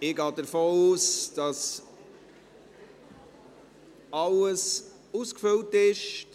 Ich gehe davon aus, dass alles ausgefüllt ist.